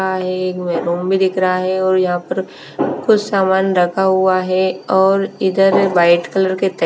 भी दिख रहा है और यहाँ पर कुछ सामान रखा हुआ है और इधर वाइट कलर के ते --